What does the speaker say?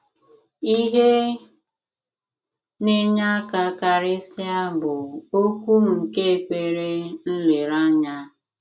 Ihe na-enye aka karịsịa bụ okwu nke ekpere nlereanya.